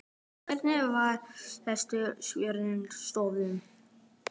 Hvenær var heilsufar tjónþola stöðugt?